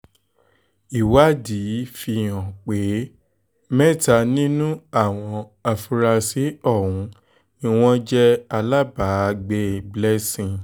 ìwádìí fíhàn pé mẹ́ta nínú àwọn afurasí ọ̀hún ni wọ́n jẹ́ alábàágbé blessing